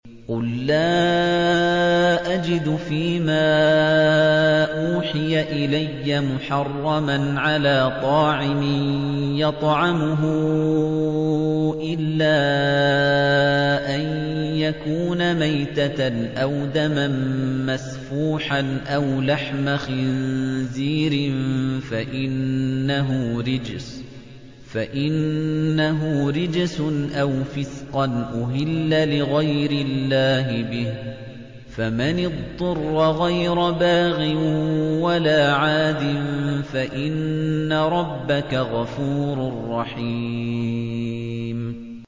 قُل لَّا أَجِدُ فِي مَا أُوحِيَ إِلَيَّ مُحَرَّمًا عَلَىٰ طَاعِمٍ يَطْعَمُهُ إِلَّا أَن يَكُونَ مَيْتَةً أَوْ دَمًا مَّسْفُوحًا أَوْ لَحْمَ خِنزِيرٍ فَإِنَّهُ رِجْسٌ أَوْ فِسْقًا أُهِلَّ لِغَيْرِ اللَّهِ بِهِ ۚ فَمَنِ اضْطُرَّ غَيْرَ بَاغٍ وَلَا عَادٍ فَإِنَّ رَبَّكَ غَفُورٌ رَّحِيمٌ